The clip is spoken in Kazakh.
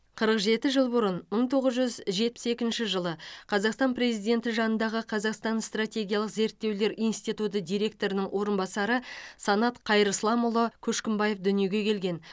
қырық жеті жыл бұрын мың тоғыз жүз жетпіс екінші жылы қазақстан президенті жанындағы қазақстан стратегиялық зерттеулер институты директорының орынбасары санат қайырсламұлы көшкімбаев дүниеге келген